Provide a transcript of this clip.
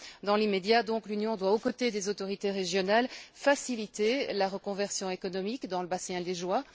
Dans l'immédiat, donc, l'Union doit, aux côtés des autorités régionales, faciliter la reconversion économique dans le bassin liégeois.